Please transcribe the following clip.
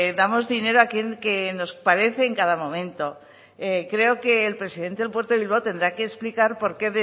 damos dinero a aquel que nos aparece en cada momento creo que el presidente del puerto de bilbao tendrá que explicar por qué